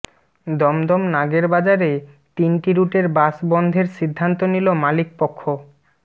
দমদম নাগেরবাজারে তিন রুটের বাস বন্ধের সিদ্ধান্ত নিল মালিক পক্ষ